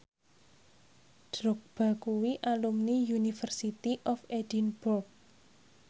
Drogba kuwi alumni University of Edinburgh